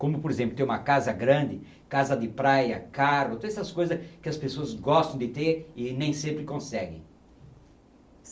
Como, por exemplo, ter uma casa grande, casa de praia, carro, ter essas coisas que as pessoas gostam de ter e nem sempre consegue.